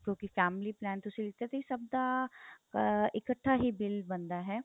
ਕਿਉਂਕਿ family plan ਤੁਸੀਂ ਲੀਤਾ ਸੀ ਸਭ ਦਾ ਅਹ ਇਕੱਠਾ ਹੀ bill ਬਣਦਾ ਹੈ